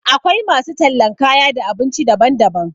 Akwai masu tallan kaya da abinci daban-daban.